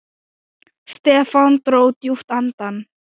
Stefán dró djúpt andann.